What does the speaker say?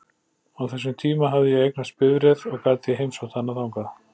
Á þessum tíma hafði ég eignast bifreið og gat því heimsótt hana þangað.